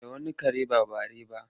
Da wani kare ba bare ba?